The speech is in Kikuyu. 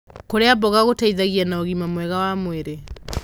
Kurĩa mboga gũteithagia na ũgima mwega wa mwĩrĩ